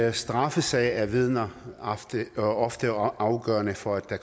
en straffesag er vidner ofte ofte afgørende for at der